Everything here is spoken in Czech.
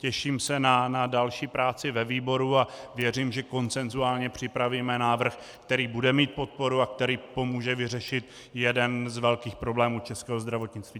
Těším se na další práci ve výboru a věřím, že konsenzuálně připravíme návrh, který bude mít podporu a který pomůže vyřešit jeden z velkých problémů českého zdravotnictví.